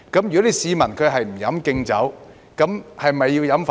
如果市民不飲"敬酒"，是否要飲"罰酒"？